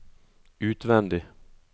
utvendig